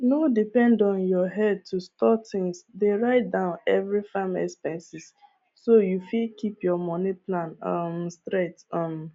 no depend on your headto store tins dey write down every farm expenses so you fit keep your money plan um straight um